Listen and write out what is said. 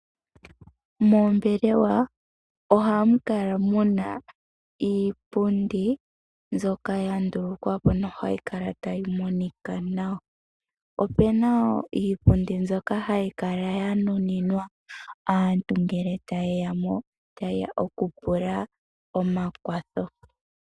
Moombelewa ohamu kala muna iipundi mbyoka hayikala tayi monika nawa. Opuna iipundi mbyoka hayi kala yanuninwa aantu ngele tayeyamo, tayeya okupula omakwatho.